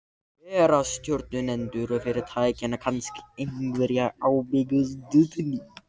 Bera stjórnendur fyrirtækjanna kannski einhverja ábyrgð á stöðunni?